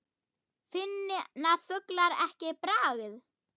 Finna fuglar ekki bragð?